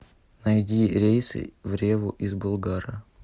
найди рейсы в реву из болгара